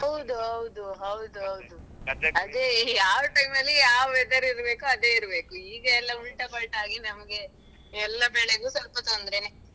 ಹೌದು ಹೌದು ಯಾವ time ನಲ್ಲಿ ಯಾವ weather ಇರಬೇಕೋ ಅದೇ ಇರ್ಬೇಕು ಈಗಯೆಲ್ಲಾ ಉಲ್ಟಾ ಪಲ್ಟಾ ಆಗಿ ನಮ್ಗೆ ಎಲ್ಲಾ ಬೆಳೆಗೂ ಸ್ವಲ್ಪ ತೊಂದ್ರೇನೇ.